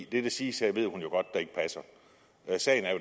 det der siges her ved hun jo godt ikke passer sagen er